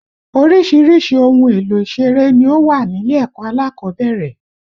Oríṣiríṣi ohun èlò ìṣeré ni ó wà nílé ẹ̀kọ́ alákọ̀ọ́bẹ̀rẹ̀